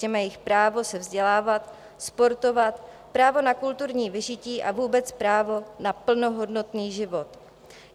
Ctěme jejich právo se vzdělávat, sportovat, právo na kulturní vyžití a vůbec právo na plnohodnotný život.